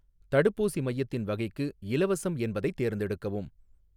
தடுப்பூசி மையத்தின் வகைக்கு, 'இலவசம்' என்பதைத் தேர்ந்தெடுக்கவும்.